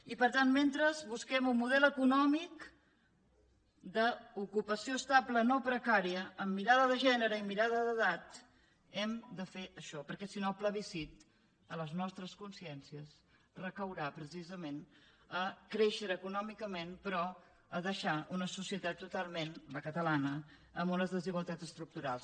i per tant mentre busquem un model econòmic d’ocupació estable no precària amb mirada de gènere i mirada d’edat hem de fer això perquè si no el plebiscit a les nostres consciències recaurà precisament a créixer econòmicament però a deixar una societat totalment la catalana amb unes desigualtats estructurals